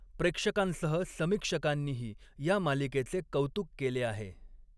प्रेक्षकांसह समीक्षकांनीही या मालिकेचे कौतुक केले आहे.